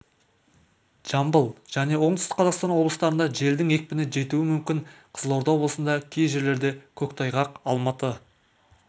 жамбыл және оңтүстік қазақстан облыстарында желдің екпіні жетуі мүмкін қызылорда облысында кей жерлерде көктайғақ алматы